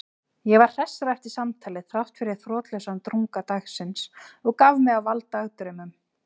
Ég var hressari eftir samtalið þráttfyrir þrotlausan drunga dagsins og gaf mig á vald dagdraumum.